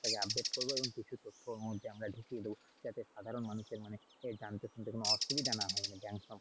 Banksoftware টাকে update করবো এবং কিছু তথ্য ওর মধ্যে আমরা ঢুকিয়ে দেব যাতে সাধারণ মানুষের মনে এই জানতে শুনতে কোনো অসুবিধা না হয়।